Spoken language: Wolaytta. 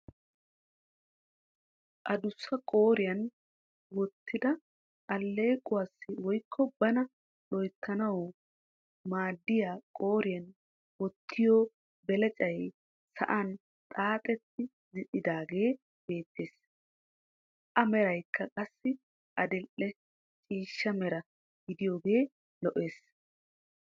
Adussa qooriyaan woottida alleequwaassi woykko bana loyttanaasi maadiyaa qooriyaan wottiyoo beleccay sa'an xaaxatti zin"idaagee beettees. A merakka qassi adii"e ciishsha meera gidaagee lo"ees.